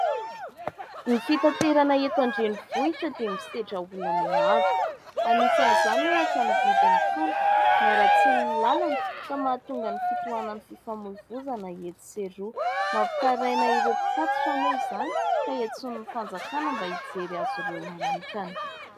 Ny fitaterana eto an-drenivohitra dia misedra olana maro, anisan'izany ohatra : ny vidin'ny solika, ny aratsian'ny lalana ka mahatonga ny fitohanan'ny fifamoivoizana etsy sy eroa. Mampitaraina ireo mpitatitra moa izany ka hiantsoany ny fanjakana mba hijery azy ireo manokana.